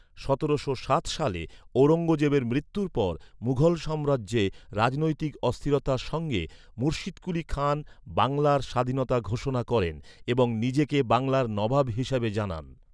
সতেরোশো সাত সালে ঔরঙ্গজেবের মৃত্যুর পর মুঘল সাম্রাজ্যে রাজনৈতিক অস্থিরতার সঙ্গে, মুর্শিদকুলি খান বাংলার স্বাধীনতা ঘোষণা করেন এবং নিজেকে বাংলার নবাব হিসাবে জানান।